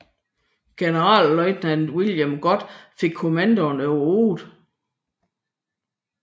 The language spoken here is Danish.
Generalløjtnant William Gott fik kommandoen over 8